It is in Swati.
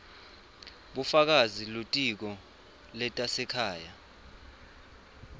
bufakazi kulitiko letasekhaya